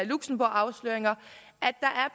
luxembourg afsløringer